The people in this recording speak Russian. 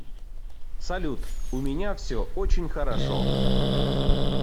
салют у меня все очень хорошо